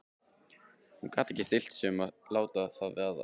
Hún gat ekki stillt sig um að láta það vaða.